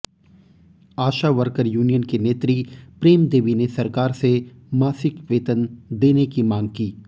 आशा worker union की नेत्री प्रेमदेवी ने सरकार से मासिक वेतन देने की मांग की